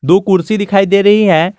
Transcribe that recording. दो कुर्सी दिखाई दे रही है।